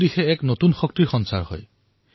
চাৰিওফালে এক নতুন শক্তিৰ সঞ্চাৰ হয়